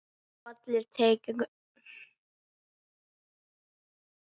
Bolli tekur undir það.